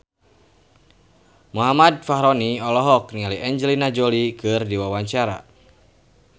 Muhammad Fachroni olohok ningali Angelina Jolie keur diwawancara